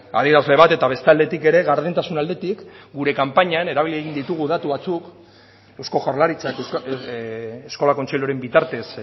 adierazle bat eta bestaldetik ere gardentasun aldetik gure kanpainan erabili egin ditugu datu batzuk eusko jaurlaritzak eskola kontseiluaren bitartez